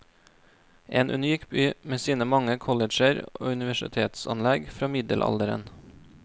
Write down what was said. En unik by med sine mange colleger og universitetsanlegg fra middelalderen.